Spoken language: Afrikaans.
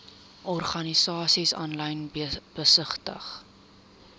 organisasies aanlyn besigtig